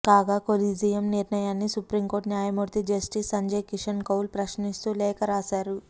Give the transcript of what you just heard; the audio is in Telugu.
కాగా కొలీజియం నిర్ణయాన్ని సుప్రీంకోర్టు న్యాయమూర్తి జస్టిస్ సంజయ్ కిషన్ కౌల్ ప్రశ్నిస్తూ లేఖ రాశారు